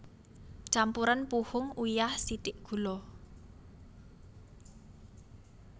Campuren puhung uyah sithik gula